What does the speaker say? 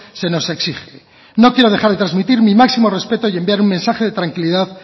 se nos exige no quiero dejar de transmitir mi máximo respeto y enviar un mensaje de tranquilidad